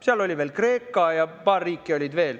Seal olid veel Kreeka ja paar riiki veel.